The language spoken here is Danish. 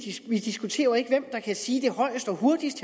diskuterer jo ikke hvem der kan sige det højest og hurtigst